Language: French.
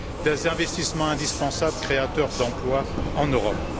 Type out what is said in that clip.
des investissements indispensables créateurs d'emplois en Europe.